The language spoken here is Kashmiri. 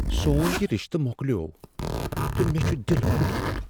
سون یہ رشتہٕ مۄکلیوو تہٕ مےٚ چھ دل پھٹمت۔